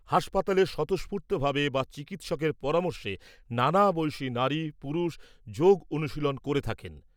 হাসপাতালে স্বতঃস্ফূর্তভাবে বা চিকিৎসকের পরামর্শে নানা বয়সী নারী পুরুষ যোগ অনুশীলন করে থাকেন ।